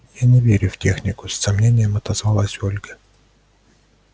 я не верю в технику с сомнением отозвалась ольга